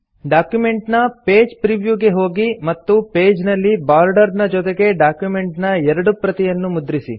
document ನ page preview ಗೆ ಹೋಗಿ ಮತ್ತು ಪೇಜ್ ನಲ್ಲಿ ಬಾರ್ಡರ್ ನ ಜೊತೆಗೆ ಡಾಕ್ಯುಮೆಂಟ್ ನ ಎರಡು ಪ್ರತಿಯನ್ನು ಮುದ್ರಿಸಿ